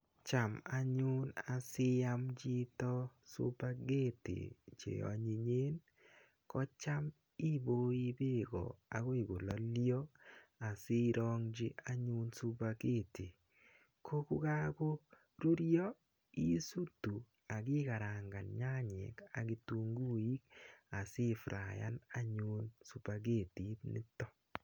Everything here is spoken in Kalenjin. Cham any asiam chito supaketi che onyinyen ko cham iboi beko akoi kololio asirongchi anyun supaketi ko kokakorurio isutu akikarangan nyanyek ak kitunguik asifrayan anyun supaketit nito.